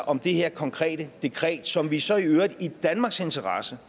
om det her konkrete dekret som vi så i øvrigt i danmarks interesse